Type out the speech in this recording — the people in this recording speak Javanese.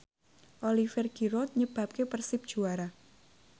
Oliver Giroud nyebabke Persib juara